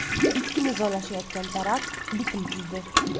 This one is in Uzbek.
Ikki nizolashayotgan taraf bitim tuzdi.